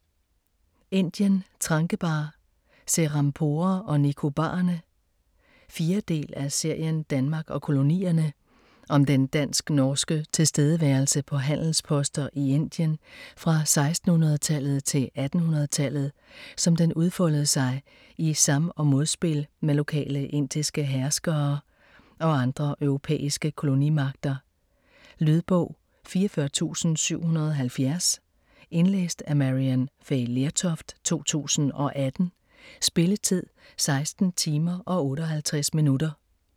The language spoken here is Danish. Indien: Tranquebar, Serampore og Nicobarerne 4. del af serien Danmark og kolonierne. Om den dansk-norske tilstedeværelse på handelsposter i Indien fra 1600-tallet til 1800-tallet, som den udfoldede sig i sam- og modspil med lokale indiske herskere og andre europæiske kolonimagter. Lydbog 44770 Indlæst af Maryann Fay Lertoft, 2018. Spilletid: 16 timer, 58 minutter.